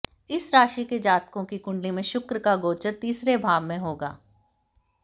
इस राशि के जातकों की कुंडली में शुक्र का गोचर तीसरे भाव में होगा